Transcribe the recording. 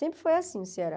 Sempre foi assim o Ceará.